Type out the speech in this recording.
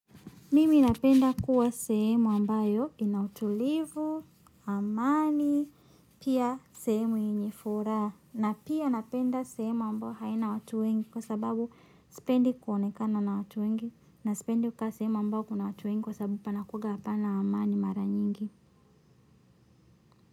Mimi napenda kuwa sehemu ambayo ina utulivu, amani, pia sehemu yenye furaha. Na pia napenda sehemu ambayo haina watu wengi kwa sababu sipendi kuonekana na watu wengi na sipendi kukaa sehemu ambayo kuna watu wengi kwa sababu panakuanga hapana amani mara nyingi.